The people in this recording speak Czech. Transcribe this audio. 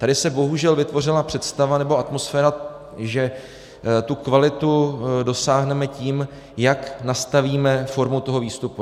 Tady se bohužel vytvořila představa nebo atmosféra, že té kvality dosáhneme tím, jak nastavíme formu toho výstupu.